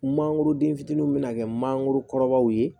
Mangoro den fitininw bɛ na kɛ manangoro kɔrɔbaw ye